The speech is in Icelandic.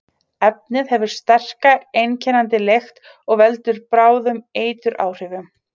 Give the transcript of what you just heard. Efnið hefur sterka, einkennandi lykt og veldur bráðum eituráhrifum.